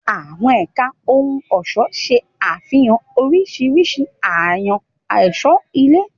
Àwọn ẹ̀ka ohun ọ̀ṣọ́ ṣe àfihàn oríṣiríṣi àṣàyàn ọ̀ṣọ́ ilé.